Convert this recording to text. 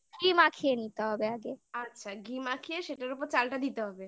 ঘি মাখিয়ে নিতে হবে আগে